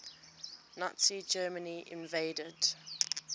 nazi germany invaded